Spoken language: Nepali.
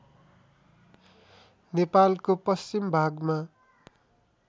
नेपालको पश्चिम भागमा